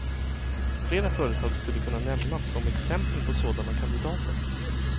Flera företag skulle kunna nämnas som exempel på sådana kandidater.